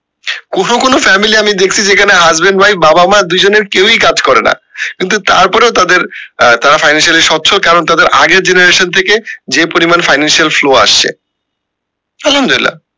কোনো কোনো family আমি দেখসি যেখানে husband wife বাবা মা দুজনের কেউ ই কাজ করে না কিন্তু তারপরেও তাদের তারা financially স্বচ্ছ কারণ তাদের আগের generation থেকে যে পরিমান financial flow আসছে আলহামদুল্লা